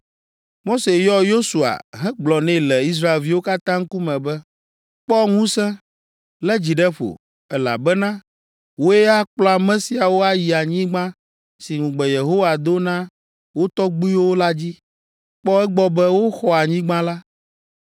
Mose yɔ Yosua hegblɔ nɛ le Israelviwo katã ŋkume be, “Kpɔ ŋusẽ! Lé dzi ɖe ƒo, elabena wòe akplɔ ame siawo ayi anyigba si ŋugbe Yehowa do na wo tɔgbuiwo la dzi. Kpɔ egbɔ be woxɔ anyigba la.